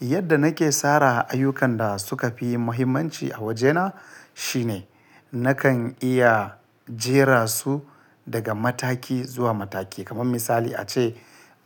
Yadda nake tsara ayyukan da suka fi muhimmanci a wajena shine nakan iya jera su daga mataki zuwa mataki. Kaman misali ace